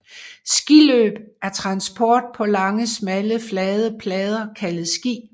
Skiløb er transport på lange smalle flade plader kaldet ski